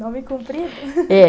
Nome cumprido? É.